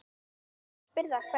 Þú spyrð af hverju.